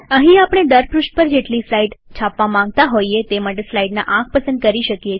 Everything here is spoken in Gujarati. અહીં આપણે દર પૃષ્ઠ પર જેટલી સ્લાઈડ છાપવા માંગતા હોઈએ તે માટે સ્લાઈડના આંક પસંદ કરી શકીએ છીએ